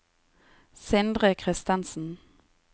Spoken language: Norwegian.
Sindre Christensen